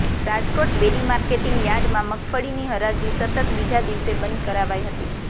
Rajkot Bedi marketing યાર્ડમાં મગફળીની હરાજી સતત બીજા દિવસે બંધ કરાવાઈ હતી